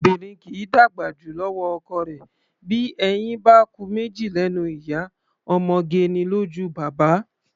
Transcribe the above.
Obìnrin kì í dàgbà jù lọ́wọ́ ọkọ rẹ̀; bí eyín bá ku méjì lẹ́nu ìyá, ọmọge ni lójú baba.